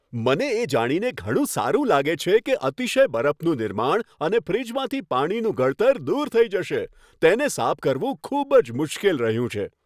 મને એ જાણીને ઘણું સારું લાગે છે કે અતિશય બરફનું નિર્માણ અને ફ્રિજમાંથી પાણીનું ગળતર દૂર થઈ જશે તેને સાફ કરવું ખૂબ જ મુશ્કેલ રહ્યું છે.